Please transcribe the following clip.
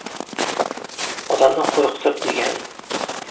Odamni qo‘rqitib”, degan.